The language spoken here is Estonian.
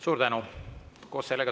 Suur tänu!